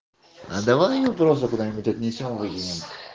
да давай её просто куда-нибудь отнесём и выкинем